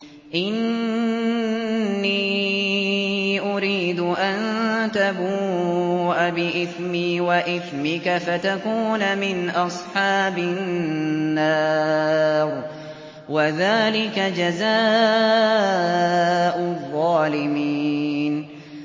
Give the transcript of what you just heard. إِنِّي أُرِيدُ أَن تَبُوءَ بِإِثْمِي وَإِثْمِكَ فَتَكُونَ مِنْ أَصْحَابِ النَّارِ ۚ وَذَٰلِكَ جَزَاءُ الظَّالِمِينَ